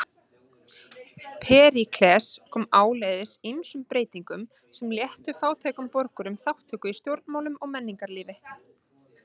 Períkles kom áleiðis ýmsum breytingum sem léttu fátækum borgurum þátttöku í stjórnmálum og menningarlífi.